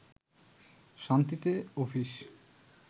শান্তিতে অফিস